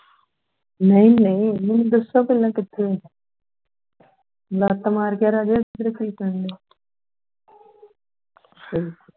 ਨਹੀਂ ਨਹੀਂ ਹੁਣ ਦੱਸੋ ਪਹਿਲਾਂ ਕਿਥੇ ਗੱਪ ਮਾਰਕੇ ਹਮ